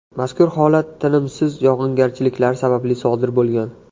Mazkur holat tinimsiz yog‘ingarchiliklar sababli sodir bo‘lgan.